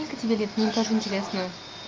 сколько тебе лет мне тоже интересно